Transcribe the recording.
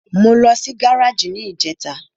Mo lọ sí gáràjì ní ìjẹta.